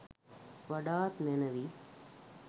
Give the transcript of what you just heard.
වඩාත් මැනවි.